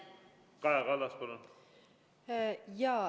Kaja Kallas, palun!